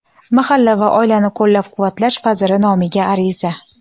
Mahalla va oilani qo‘llab-quvvatlash vaziri nomiga ariza;.